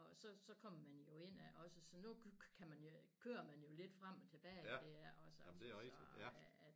Og så så kommer man jo ind i det også så nu kan man jo kører man jo lidt frem og tilbage i det også så